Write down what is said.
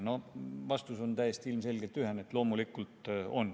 No vastus on täiesti ilmselgelt ühene: loomulikult on.